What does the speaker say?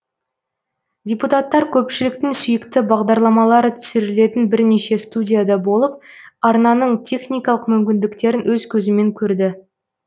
депутаттар көпшіліктің сүйікті бағдарламалары түсірілетін бірнеше студияда болып арнаның техникалық мүмкіндіктерін өз көзімен көрді